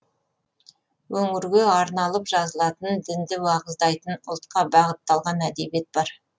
өңірге арналып жазылатын дінді уағыздайтын ұлтқа бағытталған әдебиет бар